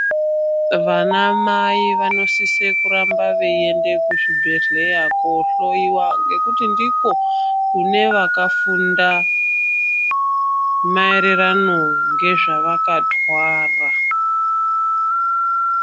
Vanamai vanosise kuramba veiende kuzvibhedhleya kohloiwa ngekuti ndikwo kune vakafunda maererano ngezvavakatwara.